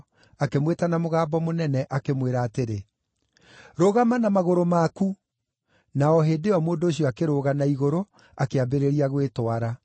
akĩmwĩta na mũgambo mũnene, akĩmwĩra atĩrĩ, “Rũgama na magũrũ maku!” Na o hĩndĩ ĩyo, mũndũ ũcio akĩrũga na igũrũ, akĩambĩrĩria gwĩtwara.